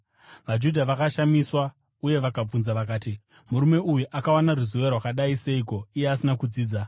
VaJudha vakashamiswa uye vakabvunza vakati, “Murume uyu akawana ruzivo rwakadai seiko iye asina kudzidza?”